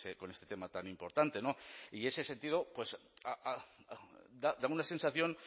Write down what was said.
con este tema tan importante y ese sentido daba una sensación